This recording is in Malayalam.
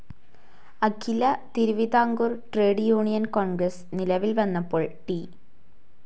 അഖില തിരുവിതാംകൂർ ട്രേഡ്‌ യൂണിയൻ കോൺഗ്രസ്‌ നിലവിൽ വന്നപ്പോൾ ടി.